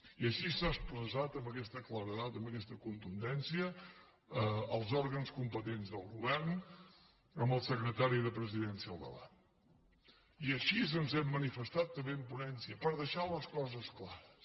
i així s’ha expressat amb aquesta claredat amb aquesta contundència als òrgans competents del govern amb el secretari de la presidència al davant i així ens hem manifestat també en ponència per deixar les coses clares